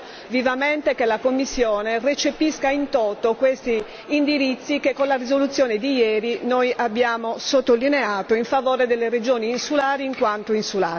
Spero vivamente che la Commissione recepisca in toto questi indirizzi che con la risoluzione di ieri noi abbiamo sottolineato in favore delle regioni insulari in quanto insulari.